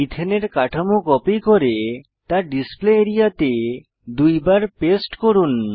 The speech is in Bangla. ইথেনের কাঠামো কপি করে তা ডিসপ্লে আরিয়া তে দুইবার পেস্ট করুন